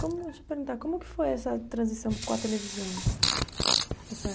Como, deixa eu perguntar, como que foi essa transição com a televisão? Essa